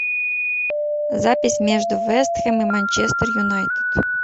запись между вест хэм и манчестер юнайтед